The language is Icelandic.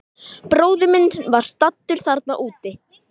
Bróðir minn var staddur þarna úti.